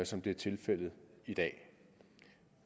som det er tilfældet i dag